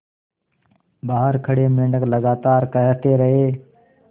बाहर खड़े मेंढक लगातार कहते रहे